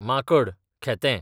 माकण, खेतें